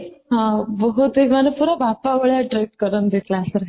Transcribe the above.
ହଁ, ବହୁତ ହି ମାନେ ପୁରା ବାପା ଭଳିଆ trick କରନ୍ତି class ରେ